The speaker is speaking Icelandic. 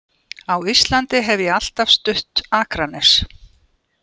Á Íslandi hef ég alltaf stutt Akranes.